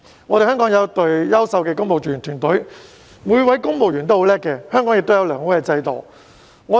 香港有一隊優秀的公務員團隊，每位公務員也很優秀，香港亦有良好的制度。